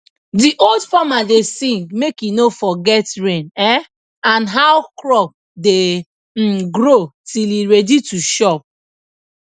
the old farmer da sing make he no forget rain um and how crop da um grow till e ready to chop